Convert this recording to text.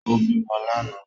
Ó bímọ lánàá